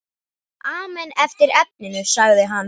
Amen eftir efninu sagði hann.